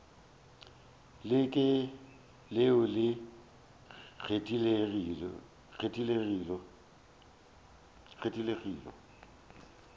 le ke leo le kgethegilego